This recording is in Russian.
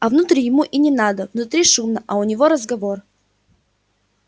а внутрь ему и не надо внутри шумно а у него разговор